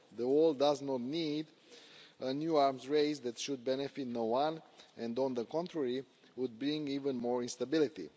The world does not need a new arms race that would benefit no one and, on the contrary, would being even more instability.